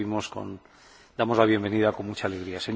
Herr Präsident, meine Damen und Herren!